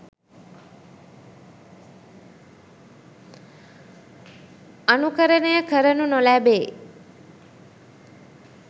අනුකරණය කරනු නොලැබේ.